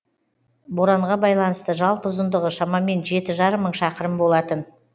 боранға байланысты жалпы ұзындығы шамамен жеті жарым мың шақырым болатын